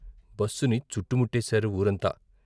బస్సుని చుట్టుముట్టేశారు వూరంతా.